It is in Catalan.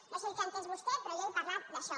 no sé el que ha entès vostè però jo he parlat d’això